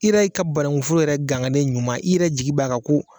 I yɛrɛ ka banankun foro yɛrɛ ganganen ɲuman, i yɛrɛ jigi b'a kan ko